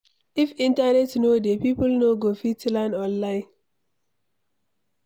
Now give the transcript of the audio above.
If Internet no dey, people no go fit learn online